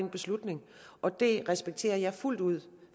den beslutning og det respekterer jeg fuldt ud